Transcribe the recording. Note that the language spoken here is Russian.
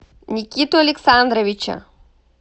никиту александровича